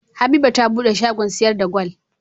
Habiba ta buɗe shagon siyar da gwal